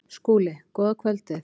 SKÚLI: Góða kvöldið!